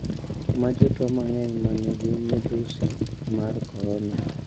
Ma jotwo mang`eny ma nigi midhusi mar korona